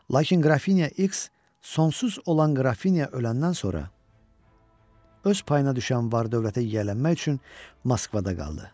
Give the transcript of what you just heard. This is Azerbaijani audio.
Lakin Qrafiniya X, sonsuz olan Qrafiniya öləndən sonra öz payına düşən var-dövlətə yiyələnmək üçün Moskvada qaldı.